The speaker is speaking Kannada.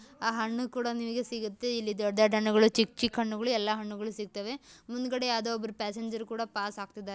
ಆ ಹಣ್ಣು ಕೂಡ ನಿಮಗೆ ಸಿಗುತ್ತೆ ಇಲ್ಲಿ ದೊಡ್ಡ್ ದೊಡ್ಡ್ ಹಣ್ಣುಗಳು ಚಿಕ್ಕ್ ಚಿಕ್ಕ್ ಹಣ್ಣುಗಳು ಎಲ್ಲಾ ಹಣ್ಣುಗಳ ಸಿಗತಾವೆ ಮುಂದಗಡೆ ಯಾರೊದೊ ಪ್ಯಾಸೆಂಜರ ಕುಡ ಪಾಸ್‌ ಆಗ್ತಿದ್ದಾರೆ .